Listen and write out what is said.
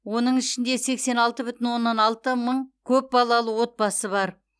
оның ішінде сексен алты бүтін оннан алты мың көпбалалы отбасы бар